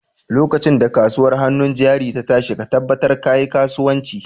Lokacin da kasuwar hannun jari ta tashi ka tabbatar ka yi kasuwanci!